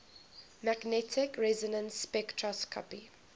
magnetic resonance spectroscopy